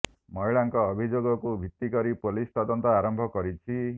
ମହିଳାଙ୍କ ଅଭିଯୋଗକୁ ଭିତି କରି ପୋଲିସ ତଦନ୍ତ ଆରମ୍ଭ କରିଛି